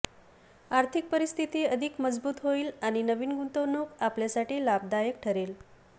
आर्थिक परिस्थिती अधिक मजबूत होईल आणि नवीन गुंतवणूक आपल्यासाठी लाभदायक ठरेल